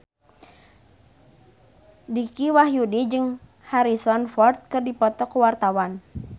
Dicky Wahyudi jeung Harrison Ford keur dipoto ku wartawan